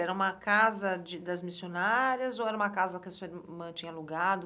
Era uma casa de das missionárias ou era uma casa que a sua irmã tinha alugado?